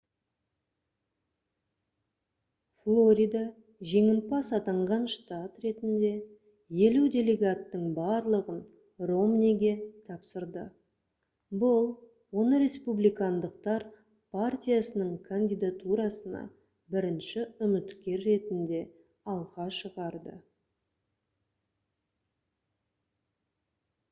флорида жеңімпаз атанған штат ретінде елу делегаттың барлығын ромниге тапсырды бұл оны республикандықтар партиясының кандидатурасына бірінші үміткер ретінде алға шығарды